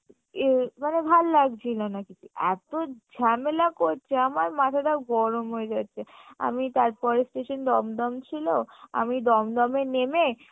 ইয়ে মানে ভাল লাগছিল না কিছু এত্তো ঝামেলা করছে আমার মাথাটা গরম হয়ে গেছে আমি তার পরের station দমদম ছিলো, আমি দমদমে নেমে